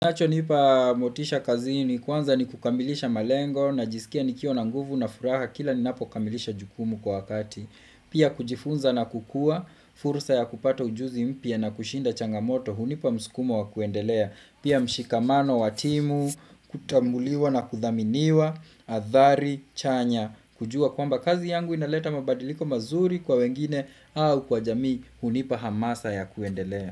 Kinacho nipa motisha kazini kwanza ni kukamilisha malengo najisikia nikiwa na nguvu na furaha kila ninapo kamilisha jukumu kwa wakati. Pia kujifunza na kukua, fursa ya kupata ujuzi mpya na kushinda changamoto, hunipa msukumo wa kuendelea. Pia mshikamano wa timu, kutambuliwa na kuthaminiwa, athari chanya, kujua kwamba kazi yangu inaleta mabadiliko mazuri kwa wengine au kwa jamii, hunipa hamasa ya kuendelea.